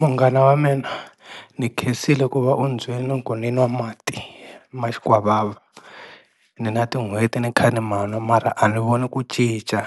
Munghana wa mina ni khensile ku va u ni byele ku ninwa mati ma xikwavava ni na tin'hweti ni kha ni manwa mara a ni voni ku cica,